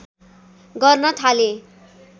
गर्न थाले